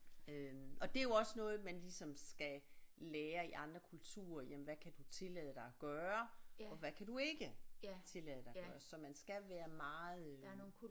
Øh og det er jo også noget man ligesom skal lære i andre kulturer jamen hvad kan du tillade dig at gøre og hvad kan du ikke tillade dig at gøre så man skal være meget øh